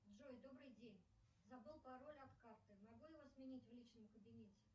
джой добрый день забыл пароль от карты могу его сменить в личном кабинете